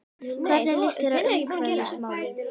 Hvernig líst þér á umhverfismálin?